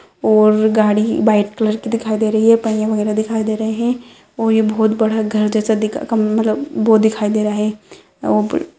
और गाड़ी white colour की दिखाई दे रही है पहिए वगैरा दिखाई दे रहे है और ये बहुत बड़ा घर जैसा दिखाई कम मतलब वो दिखाई दे रहा है वो--